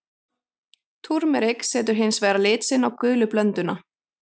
Túrmerik setur hins vegar lit sinn á gulu blönduna.